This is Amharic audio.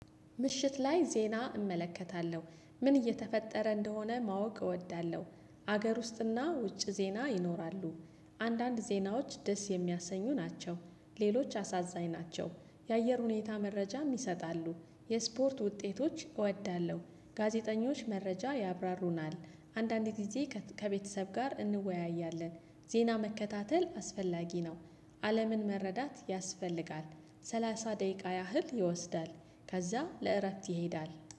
ምሽት ላይ ዜና እመለከታለሁ ምን እየተፈጠረ እንደሆነ ማወቅ እወዳለሁ ሀገር ውስጥና ውጭ ዜና ይኖራሉ። አንዳንድ ዜናዎች ደስ የሚያሰኙ ናቸው ሌሎች አሳዛኝ ናቸው። የአየር ሁኔታ መረጃ ይሰጣሉ የስፖርት ውጤቶች እወዳለሁ ጋዜጠኞች መረጃ ያብራሩናል። አንዳንድ ጊዜ ከቤተሰብ ጋር እንወያያለን። ዜና መከታተል አስፈላጊ ነው። አለምን መረዳት ያስፈልጋል። ሰላሳ ደቂቃ ያህል ይወስዳል። ከዛ ለእረፍት ይሄዳል